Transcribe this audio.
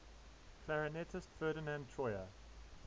clarinetist ferdinand troyer